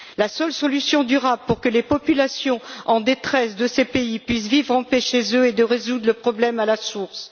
La seule solution durable pour que les populations en détresse de ces pays puissent vivre en paix chez eux est de résoudre le problème à la source.